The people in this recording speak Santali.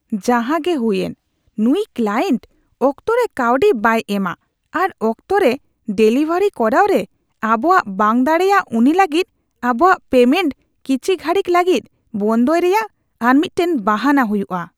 ᱡᱟᱦᱟᱸᱜᱮ ᱦᱩᱭᱮᱱ, ᱱᱩᱭ ᱠᱞᱟᱭᱮᱱᱴ ᱚᱠᱛᱚ ᱨᱮ ᱠᱟᱹᱣᱰᱤ ᱵᱟᱭ ᱮᱢᱼᱟ ᱟᱨ ᱚᱠᱛᱚᱨᱮ ᱰᱮᱞᱤᱵᱷᱟᱨᱤ ᱠᱚᱨᱟᱣ ᱨᱮ ᱟᱵᱚᱣᱟᱜ ᱵᱟᱝ ᱫᱟᱲᱮᱭᱟᱜ ᱩᱱᱤ ᱞᱟᱹᱜᱤᱫ ᱟᱵᱚᱣᱟᱜ ᱯᱮᱢᱮᱱᱴ ᱠᱤᱪᱷᱤ ᱜᱷᱟᱹᱲᱤᱠ ᱞᱟᱹᱜᱤᱫ ᱵᱚᱱᱫᱚᱭ ᱨᱮᱭᱟᱜ ᱟᱨ ᱢᱤᱫᱴᱟᱝ ᱵᱟᱦᱟᱱᱟ ᱦᱳᱭᱳᱜᱼᱟ ᱾ (ᱵᱤ ᱤᱭᱩ ᱦᱮᱰ)